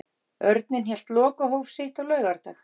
Örninn hélt lokahóf sitt á laugardag.